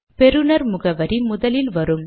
பெறுநர் முகவரி முதலில் வரும்